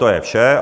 To je vše.